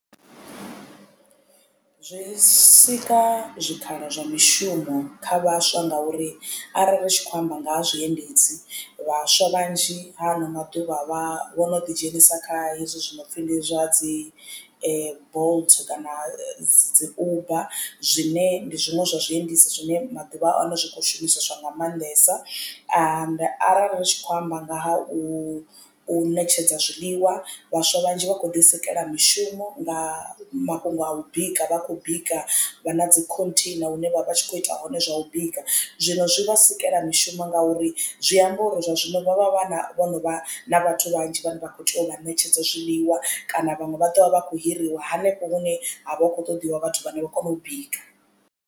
Zwo sika zwikhala zwa mishumo kha vhaswa ngauri arali ri tshi khou amba nga ha zwiendedzi vhaswa vhanzhi ha ano maḓuvha vhono ḓi dzhenisa kha hezwi zwinopfi ndi zwa dzi bolt kana dzi uber zwine ndi zwiṅwe zwa zwiendedzi zwine maḓuvha ano zwi kho shumiswa nga maanḓesa. Arali ri tshi khou amba nga ha u u ṋetshedza zwiḽiwa vhaswa vhanzhi vha khou ḓi sikela mishumo nga mafhungo a u bika vha khou bika vha na dzi khontheina hune vha vha tshi kho ita hone zwa u bika. Zwino zwi vha sikela mishumo ngauri zwi amba uri zwa zwino vhavha vha vhono vha na vhathu vhanzhi vhane vha kho tea u vha ṋetshedza zwiḽiwa kana vhaṅwe vha ḓovha vha kho hiriwa hanefho hune ha vha hu khou ṱoḓiwa vhathu vhane vha kona u bika.